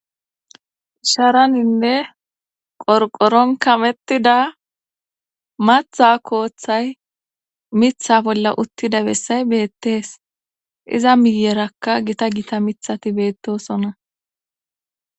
sharaninne qorqoron kamettida matha kooththay mitha bolla uttida bessay beettees iza miyerakka gita gita mithati beettosona